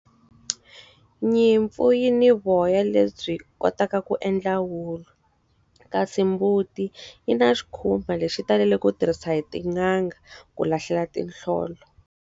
Nyimpfu yi ni voya lebyi kotaka ku endla wulu, kasi mbuti yi na xikhumba lexi taleleke ku tirhisa hi tin'anga ku lahlela tinhlolo.